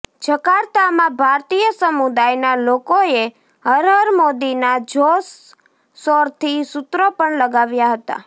જકાર્તામાં ભારતીય સમુદાયના લોકોએ હર હર મોદીના જોરશોરથી સુત્રો પણ લગાવ્યા હતાં